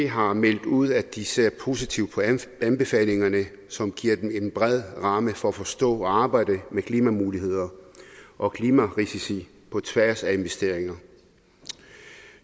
har meldt ud at de ser positivt på anbefalingerne som giver dem en bred ramme for at forstå og arbejde med klimamuligheder og klimarisici på tværs af investeringer